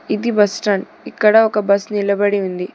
ఇది బస్టాండ్ ఇక్కడ ఒక బస్ నిలబడి ఉంది.